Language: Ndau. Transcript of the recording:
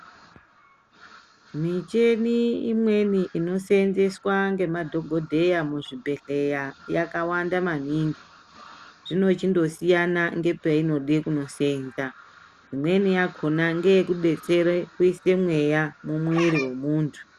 Michini imweni inoseenzeswa ngemadhogodheya muzvibhedhleya yakawanda maningi. Zvinochindosiyana ngepeinode kunoseenza. Imweni yakona ngeyekudetsera kuise mweya mumwiri womuntu.